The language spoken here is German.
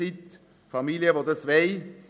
Es gibt Familien, die das wollen.